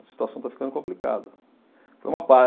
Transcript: A situação está ficando complicada, foi uma pa